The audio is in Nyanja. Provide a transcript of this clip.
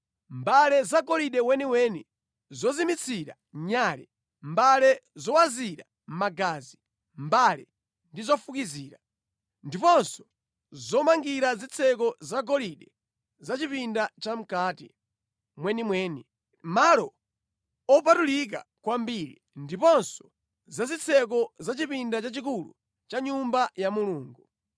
mbale zagolide weniweni, zozimitsira nyale, mbale zowazira magazi, mbale ndi zofukizira; ndiponso zomangira zitseko zagolide za chipinda chamʼkati mwenimweni, Malo Opatulika Kwambiri, ndiponso za zitseko za chipinda chachikulu cha Nyumba ya Mulungu.